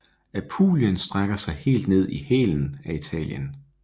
Apulien strækker sig helt ned i hælen af Italien